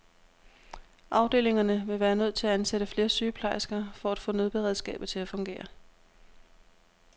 Afdelingerne ville være nødt til at ansætte flere sygeplejersker for at få nødberedskabet til at fungere.